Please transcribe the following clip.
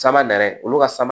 Sama nɛrɛ olu ka sama